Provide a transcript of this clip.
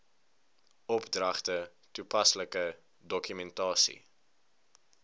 opdragte toepaslike dokumentasie